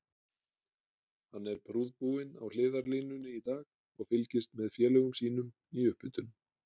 Hann er prúðbúinn á hliðarlínunni í dag og fylgist með félögum sínum í upphitun.